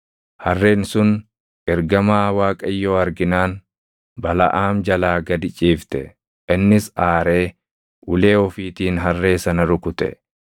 Harreen sun ergamaa Waaqayyoo arginaan Balaʼaam jalaa gad ciifte; innis aaree ulee ofiitiin harree sana rukute.